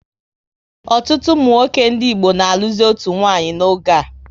Ọtụtụ ụmụnwoke ndị Igbo na alụzi otu nwanyị n'oge a